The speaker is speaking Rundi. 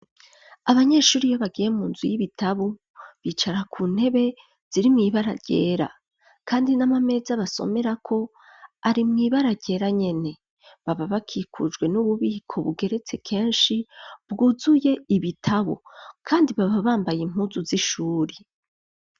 abanyeshuri iyo bagiye munzu y'ibitabo bicara ku ntebe ziri mw,ibara ryera kandi n'amameza basomera ko ari mwibara ryera nyene baba bakikujwe n'ububiko bugeretse kenshi bwuzuye ibitabo kandi baba bambaye impuzu z'ishuri